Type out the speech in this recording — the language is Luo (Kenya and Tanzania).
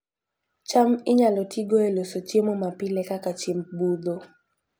cham inyalo tigo e loso chiemo mapile kaka chiemb budho